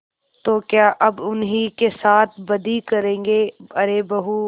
तो क्या अब उन्हीं के साथ बदी करेंगे अरे बहू